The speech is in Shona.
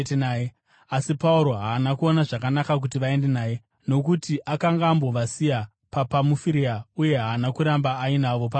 asi Pauro haana kuona zvakanaka kuti vaende naye, nokuti akanga ambovasiya paPamufiria uye haana kuramba ainavo pabasa.